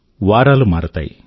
వారాలు మారతాయి